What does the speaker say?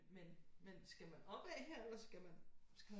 Men men skal man opad her eller skal man skal man